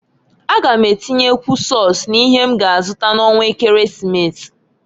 A gam atinyekwu sọs n'ihe m ga azụta n'ọnwa ekeresimesi.